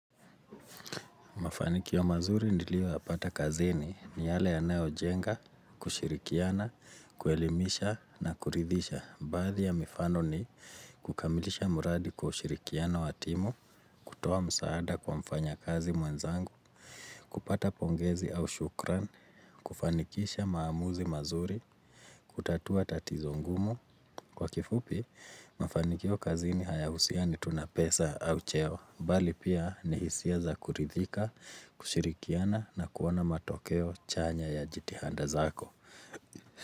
Mafanikio mazuri niiyo yapata kazini ni yale yanayo jenga, kushirikiana, kuelimisha na kuridhisha. Baadhi ya mifano ni kukamilisha mradi kushirikiana wa timu, kutoa msaada kwa mfanya kazi mwenzangu, kupata pongezi au shukrani, kufanikisha maamuzi mazuri, kutatua tatizo ngumu. Kwa kifupi, mafanikio kazini hayahusini tu na pesa au cheo, bali pia ni hisia za kuridhika, kushirikiana na kuona matokeo chanya ya jitihanda zako.